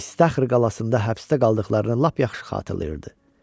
İştəhr qalasında həbsdə qaldıqlarını lap yaxşı xatırlayırdı.